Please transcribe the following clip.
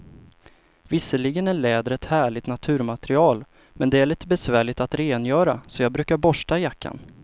Visserligen är läder ett härligt naturmaterial, men det är lite besvärligt att rengöra, så jag brukar borsta jackan.